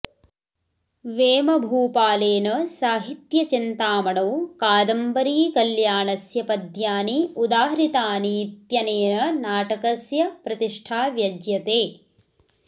वेमभपालेन साहित्यचिन्तामणौ कादम्बरीकल्याणस्य पद्यानि उदाहृतानीत्यनेन नाटकस्य प्रतिष्ठा व्यज्यते